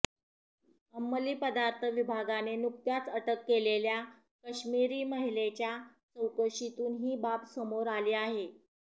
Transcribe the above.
अंमली पदार्थ विभागाने नुकत्याच अटक केलेल्या काश्मिरी महिलेच्या चौकशीतून ही बाब समोर आली आहे